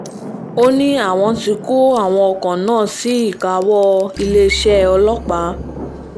ó ní àwọn ti kó àwọn ọkọ̀ náà sí ìkáwọ́ iléeṣẹ́ ọlọ́pàá